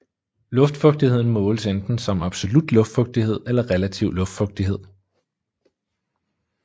Luftfugtigheden måles enten som absolut luftfugtighed eller relativ luftfugtighed